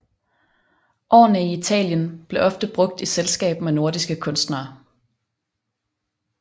Årene i Italien blev ofte brugt i selskab med nordiske kunstnere